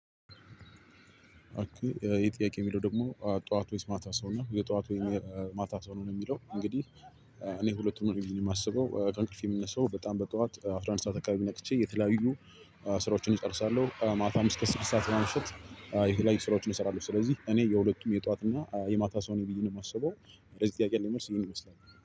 አክሊ ይሄ ጥያቄ የሚለው ደግሞ ጠዋት ወይስ ማታ ሰው ነው የጠዋት ወይ የማታ አትበሉ ነው? የሚለው እንግዲህ እኔ ሁለቱም ነኝ ብዬ የማስበው ከእንቅልፌ የምነሳው በጣም በጠዋት አስራአንድ ሰዓት አከበቢ ነቅቼ የተለያዩ ስራዎችን እጨርሳለሁ። ማታም እስከ ስድስት ሰዓት በማምሸት የተለያዩ ስራዎችን እሰራለሁ። ስለዚህ እኔ የሁለቱም የጧት እና የማታ ሰው ነኝ ብዬ ነው የማስበው በዚህ ጥያቄ ላይ ያለኝ መልስ ይሄን ይመስላል